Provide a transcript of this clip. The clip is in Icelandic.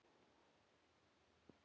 Myrkrið breytir öllu.